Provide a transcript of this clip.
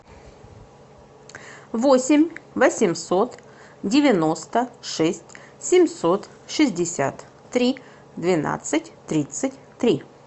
восемь восемьсот девяносто шесть семьсот шестьдесят три двенадцать тридцать три